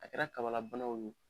A kɛra kabalabanaw de ye